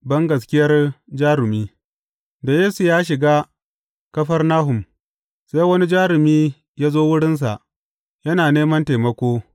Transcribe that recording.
Bangaskiyar jarumi Da Yesu ya shiga Kafarnahum, sai wani jarumi ya zo wurinsa, yana neman taimako.